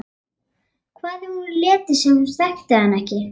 Hvað ef hún léti sem hún þekkti hann ekki?